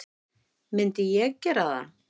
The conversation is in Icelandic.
Myndi ég gera það?